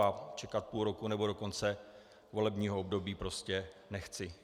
A čekat půl roku nebo do konce volebního období prostě nechci.